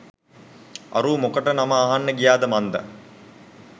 අරූ මොකට නම අහන්න ගියාද මන්දා